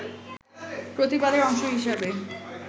প্রতিবাদের অংশ হিসাবে